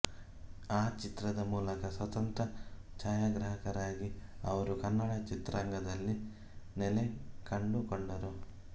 ಆ ಚಿತ್ರದ ಮೂಲಕ ಸ್ವತಂತ್ರ ಛಾಯಾಗ್ರಾಹಕರಾಗಿ ಅವರು ಕನ್ನಡ ಚಿತ್ರರಂಗದಲ್ಲಿ ನೆಲೆಕಂಡುಕೊಂಡರು